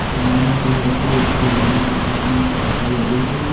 बंधन कलर के भगवान के पीछे में पर्दा लगे हुए--